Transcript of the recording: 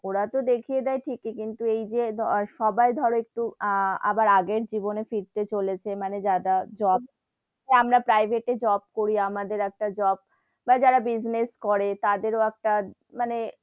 ওরা তো দেখিয়ে দেয় ঠিকি কিন্তু এই যে সবাই ধরো একটু আবার আগের জীবনে ফিরতে চলেছে মানে যারা job আমরা private job করি আমাদের একটা job বা যারা business করে তাদেরও একটা মানে,